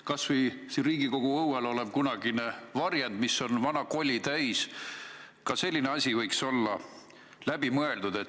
Kas või siin Riigikogu õuel olev kunagine varjend, mis on vana koli täis – ka selline asi võiks olla läbi mõeldud.